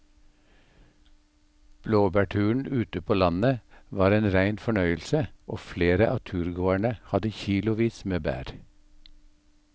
Blåbærturen ute på landet var en rein fornøyelse og flere av turgåerene hadde kilosvis med bær.